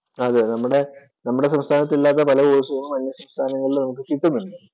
നമ്മുടെ സംസ്ഥാനത്ത് ഇല്ലാത്ത പല കോഴ്സുകളും അന്യസംസ്ഥാനത്ത് നമ്മൾക്ക് കിട്ടുന്നുണ്ട്.